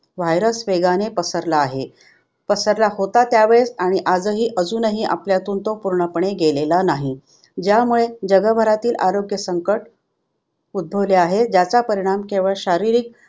virus वेगाने पसरला आहे. पसरला होता त्यावेळेस आणि आजही अजूनही आपल्यातून तो पूर्णपणे गेलेला नाही ज्यामुळे जगभरातील आरोग्य संकट उद्धभवले आहे. ज्याचा परिणाम केवळ शारीरिक